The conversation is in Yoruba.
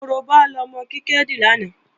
Korobá lọmọ Kíkẹ́ dì lánàá